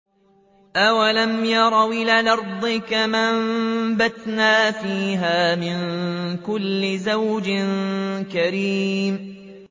أَوَلَمْ يَرَوْا إِلَى الْأَرْضِ كَمْ أَنبَتْنَا فِيهَا مِن كُلِّ زَوْجٍ كَرِيمٍ